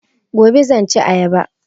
Gobe zan ci ayaba